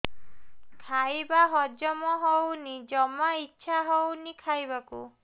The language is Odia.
ଖାଇବା ହଜମ ହଉନି ଜମା ଇଛା ହଉନି ଖାଇବାକୁ